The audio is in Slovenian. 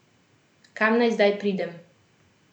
Kam naj zdaj pridem?